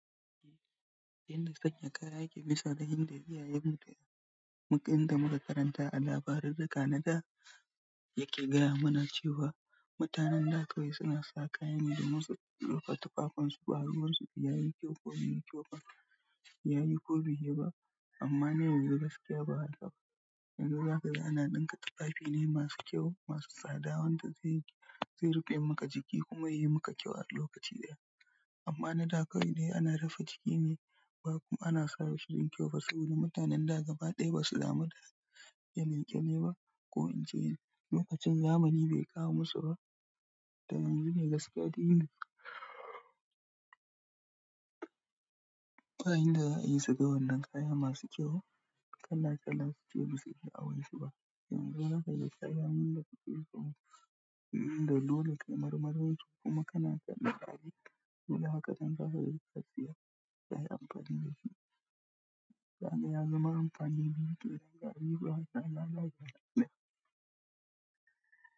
Inda sanya kaya yake nisa da inda iyayenmu da mu, inda muka karanta a labarin da kanada yake gaya mana cewa mutanen da kawai suna sa kaya ne domin su rufe tufafinsu baruwansu da yayi kyau ko baiyi kyau ba yayi ko baiyi ba amma na yanzu gaskiya ba haka yake ba yanzu haka ana ɗinka tufafi ne masu kyau, masu tsada wanda zai, zai rufe maka jiki kuma ya yi maka kyau a lokaci ɗaya. Amma na da kawai dai ana rufe jiki ne ba kuma ana sa shi don kyau fa saboda mutanen da gaba ɗaya ba su damu da yanke-yanke ba ko in ce lokacin zamani bai kawo musu ba. Dan yanzu kam gaskiya kayin da za a yi su ga wannan kaya masu kyau kala-kala suce ba su yi awai su ba. Yanzu haka da kaya mun dake so mu yi, inda dole kayi marmaroshi kuma kana son ka ari. Dole haka dan za ka iya siyan kaya amfani da shi. Sanda ya zama amfani biyu da danganin ku haka na lalacewa.